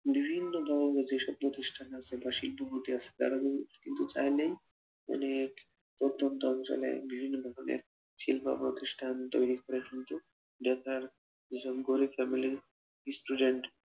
বিভিন্ন ধরণের যেসব প্রতিষ্ঠান আছে বা শিল্পপতি আছে, তারা কিন্তু চাইলেই অনেক প্রত্যন্ত অঞ্চলে বিভিন্ন ধরণের শিল্পপ্রতিষ্ঠান তৈরী করে কিন্তু যারা যেসব গরিব family র student